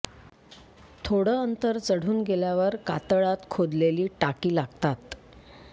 थोडं अंतर चढून गेल्यावर कातळात खोदलेली टाकी लागतात